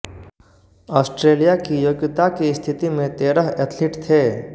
Australia की योग्यता की स्थिति में तेरह एथलीट थे